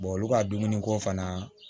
olu ka dumuni ko fana